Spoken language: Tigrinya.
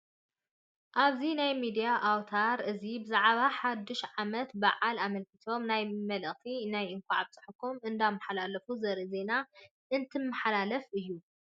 ኣብዚ ናይ ሚድያ ኣውታር እዚ ብዛዕባ ሓዱሽ ዓመት በዓል ኣመልኪቶም ናይ መልእኽቲ ናይ እንኳዕ ኣብፀሓኩም እንዳማሓላለፉ ዘርኢ ዜና እትማሓለፍ እዩ፡፡